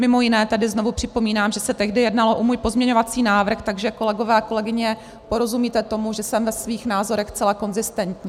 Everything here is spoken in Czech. Mimo jiné tady znovu připomínám, že se tehdy jednalo o můj pozměňovací návrh, takže kolegové a kolegyně, porozumíte tomu, že jsem ve svých názorech zcela konzistentní.